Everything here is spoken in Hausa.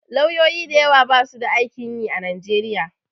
Lauyoyi da yawa basu da aikin yi a Nigeria.